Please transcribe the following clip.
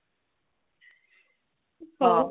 ହାଉ